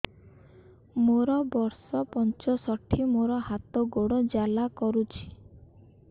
ମୋର ବର୍ଷ ପଞ୍ଚଷଠି ମୋର ହାତ ଗୋଡ଼ ଜାଲା କରୁଛି